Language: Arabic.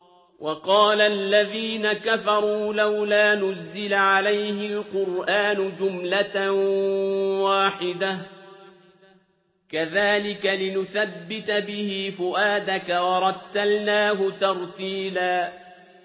وَقَالَ الَّذِينَ كَفَرُوا لَوْلَا نُزِّلَ عَلَيْهِ الْقُرْآنُ جُمْلَةً وَاحِدَةً ۚ كَذَٰلِكَ لِنُثَبِّتَ بِهِ فُؤَادَكَ ۖ وَرَتَّلْنَاهُ تَرْتِيلًا